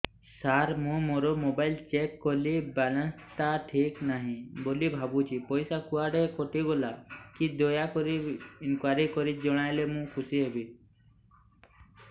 ସାର ମୁଁ ମୋର mobile check କଲି ବାଲାନ୍ସ ଟା ଠିକ ନାହିଁ ବୋଲି ଭାବୁଛି ପଇସା କୁଆଡେ କଟି ଗଲା କି ଦୟାକରି ଇନକ୍ୱାରି କରି ଜଣାଇଲେ ମୁଁ ଖୁସି ହେବି